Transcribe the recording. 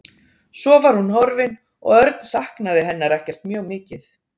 Svo var hún horfin og Örn saknaði hennar ekkert mjög mikið.